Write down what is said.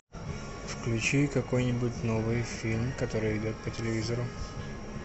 включи какой нибудь новый фильм который идет по телевизору